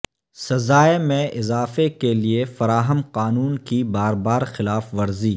سزائے میں اضافہ کے لئے فراہم قانون کی بار بار خلاف ورزی